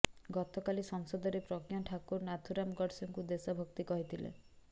ଗତକାଲି ସଂସଦରେ ପ୍ରଜ୍ଞା ଠାକୁର ନାଥୁରାମ୍ ଗଡ୍ସେକୁ ଦେଶ ଭକ୍ତ କହିଥିଲେ